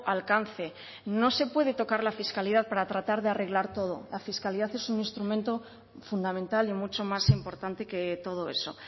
alcance no se puede tocar la fiscalidad para tratar de arreglar todo la fiscalidad es un instrumento fundamental y mucho más importante que todo eso